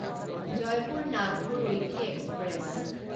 Jaipur Nagpur weekly express